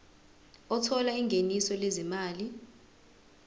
othola ingeniso lezimali